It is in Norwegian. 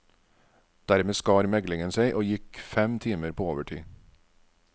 Dermed skar meglingen seg og gikk fem timer på overtid.